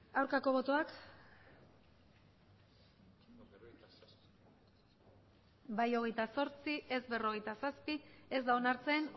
aurkako botoak bai hogeita zortzi ez berrogeita zazpi ez da onartzen